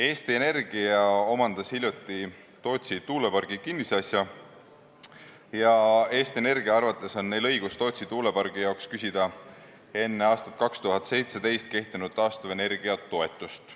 Eesti Energia omandas hiljuti Tootsi tuulepargi kinnisasja ja Eesti Energia arvates on neil õigus Tootsi tuulepargi jaoks küsida enne aastat 2017 kehtinud taastuvenergia toetust.